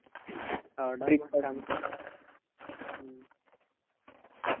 അവിട